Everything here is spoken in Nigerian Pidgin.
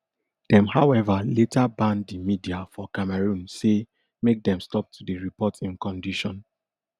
dem however later ban di media for cameroon say make dem stop to dey report im condition